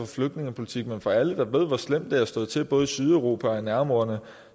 flygtningepolitik men for alle der ved hvor slemt det har stået til både i sydeuropa og i nærområderne